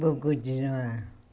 Vou continuar.